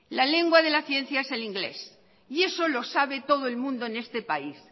la lengua de la ciencia es el inglés y eso lo sabe todo el mundo en este país